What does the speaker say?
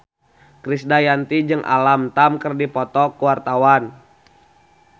Krisdayanti jeung Alam Tam keur dipoto ku wartawan